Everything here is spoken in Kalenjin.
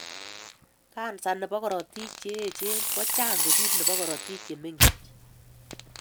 Kansa nebo korotik cheyech kochang kosir nebo kortik chemengech